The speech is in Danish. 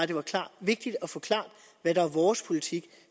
det var klart vigtigt at forklare hvad der er vores politik